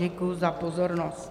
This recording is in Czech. Děkuji za pozornost.